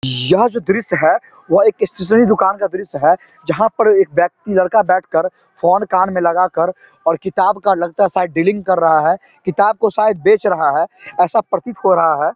यह जो दृश्य है वह एक स्टेशनरी दुकान का दृश्य है जहाँ पर एक व्यक्ति लड़का बैठकर फोन कान में लगाकर और किताब का लगता है शायद डीलिंग कर रहा है किताब को शायद बेच रहा है ऐसा प्रतीत हो रहा है।